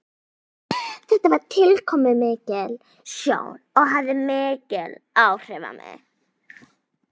Þetta var tilkomumikil sjón og hafði mikil áhrif á mig.